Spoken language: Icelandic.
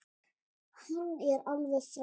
Hann er alveg frábær.